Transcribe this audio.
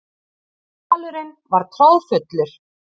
Salurinn var troðfullur.